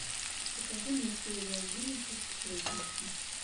покажи мне серия одиннадцать сплетница